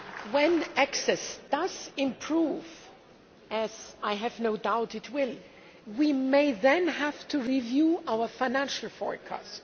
When access does improve as I have no doubt it will we may then have to review our financial forecast.